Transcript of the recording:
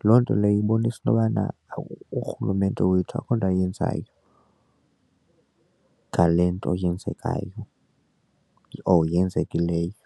Lo loo nto leyo ibonisa intobana urhulumente wethu akukho nto ayenzayo ngale nto yenzekayo or yenzekileyo.